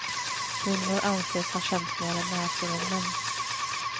Kvinnor anses ha känsligare näsor än män.